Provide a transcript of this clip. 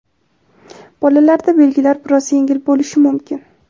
Bolalarda belgilar biroz yengil bo‘lishi mumkin.